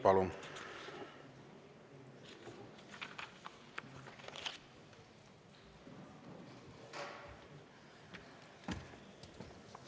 Palun!